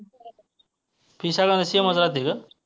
fee सगळ्यांना same च राहती का?